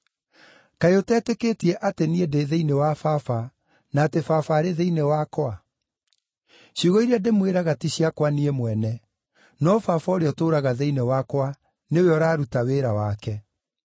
Kaĩ ũtetĩkĩtie atĩ niĩ ndĩ thĩinĩ wa Baba, na atĩ Baba arĩ thĩinĩ wakwa? Ciugo iria ndĩmwĩraga ti ciakwa niĩ mwene; no Baba ũrĩa ũtũũraga thĩinĩ wakwa, nĩwe ũraruta wĩra wake.